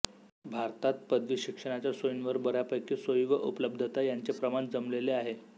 भारतात पदवी शिक्षणाच्या सोयींवर बऱ्यापैकी सोयी व उपलब्धता यांचे प्रमाण जमलेले आहे